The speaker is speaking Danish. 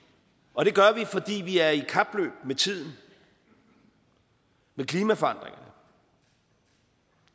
og det gør vi fordi vi er i kapløb med tiden med klimaforandringerne